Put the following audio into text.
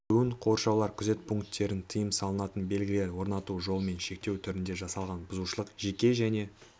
кіруін қоршаулар күзет пункттерін тыйым салатын белгілер орнату жолымен шектеу түрінде жасалған бұзушылық жеке және